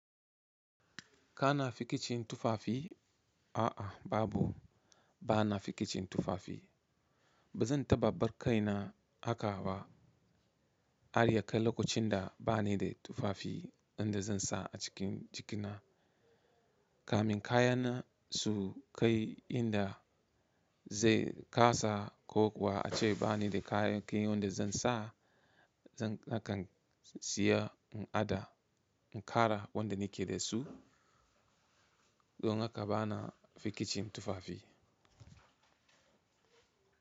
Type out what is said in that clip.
Kana fikicin tufafi? A'a babu, bana fikicin tufafi. Ba zan taɓa bar kai na haka ba. Harya kai lokacin da ba ni da tufafi wanda zan sa a cikin jikina, kamin kayana su kai inda zai kasa ko kuwa a ce ba ni da kayan ki wanda zan sa, zan kakan siya in ada, in kara wanda ni ke da su don haka bana fikicin tufafi.